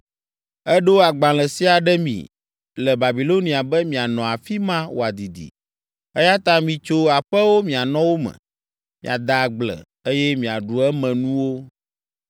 Eɖo agbalẽ sia ɖe mi le Babilonia be mianɔ afi ma wòadidi, eya ta mitso aƒewo mianɔ wo me, miade agble, eye miaɖu emenuwo.’ ”